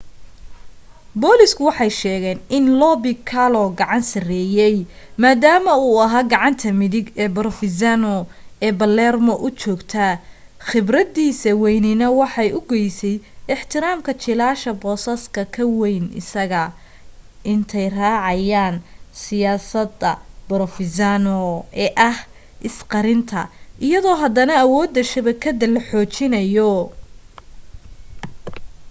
booliisku waxay sheegeen in lo piccolo gacan sarreeyay maadaama uu ahaa gacanta midig ee provenzano ee palermo u joogta khibradiisa waynina waxay u goysay ixtiraamka jiilasha boosaska ka wayn isaga intay raacayaan siyaasadda provenzano ee ah is qarinta iyadoo haddana awoodda shabakadada la xoojinayo